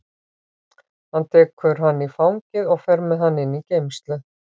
Hann tekur hann í fangið og fer með hann inn í geymslu.